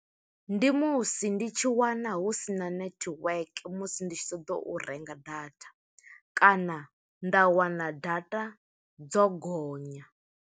Ndi musi ndi tshi wana, hu sina network musi ndi tshi ṱoḓo u renga data, kana nda wana data dzo gonya.